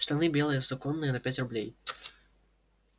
штаны белые суконные на пять рублей